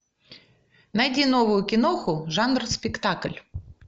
найди новую киноху жанр спектакль